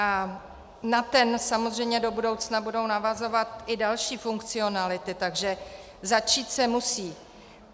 A na ten samozřejmě do budoucna budou navazovat i další funkcionality, takže začít se musí.